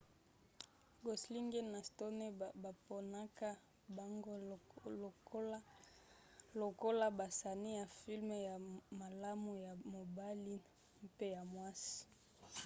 gosling na stone baponaka bango lokola basani ya filme ya malamu ya mobali mpe ya mwasi